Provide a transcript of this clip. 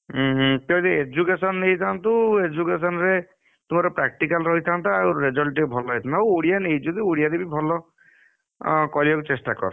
ଉହୁଁ ତୁ ଯଦି education ନେଇଥାନ୍ତୁ education ରେ, ତୋର practical ରହିଥାନ୍ତା ଆଉ result ଟିକେ ଭଲ ହେଇଥାନ୍ତା ନଉ ଓଡିଆତ ନେଇଛୁ ଓଡିଆ ରେତ ଭଲ, ଅ କରିବାକୁ ଚେଷ୍ଟା କର।